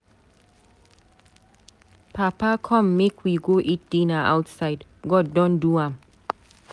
Papa come make we go eat dinner outside. God don do am.